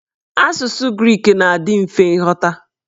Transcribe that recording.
Asụsụ grik ga-adị mfe nghọta.